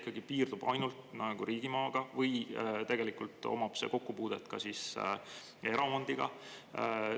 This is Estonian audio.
Kas see piirdub ikka ainult riigimaaga või on sellel kokkupuude ka eraomandiga?